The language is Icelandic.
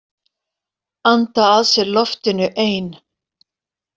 Anda að sér loftinu ein.